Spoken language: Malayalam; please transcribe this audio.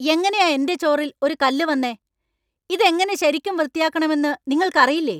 എങ്ങനെയാ എന്‍റെ ചോറിൽ ഒരു കല്ല് വന്നേ? ഇതെങ്ങനെ ശരിയ്ക്കും വൃത്തിയാക്കണമെന്ന് നിങ്ങൾക്കറിയില്ലേ?